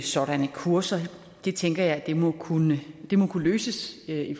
sådanne kurser det tænker jeg må kunne må kunne løses i